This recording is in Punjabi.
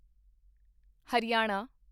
ਹਰਿਆਣਾ